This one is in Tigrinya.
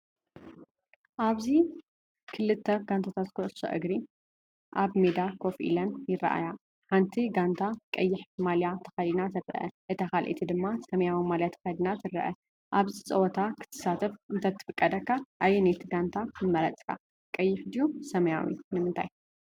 ኣብዚ ክልተ ጋንታታት ኩዕሶ እግሪ ኣብ ሜዳ ኮፍ ኢለን ይረኣያ። ሓንቲ ጋንታ ቀይሕ ማልያ ተኸዲና ትረአ፡ እታ ካልኣይቲ ድማ ሰማያዊ ማልያ ተኸዲና ትረአ። ኣብዚ ጸወታ ክትሳተፍ እንተትፍቀደካ ኣየነይቲ ጋንታ ምመረጽካ ? ቀይሕ ድዩ ሰማያዊ ንምንታይ?